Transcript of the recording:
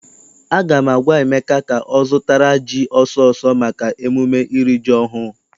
Aga m agwa Emeka ka ọ ga zụtara ji ọsọ ọsọ maka emume iri ji ọhụụ!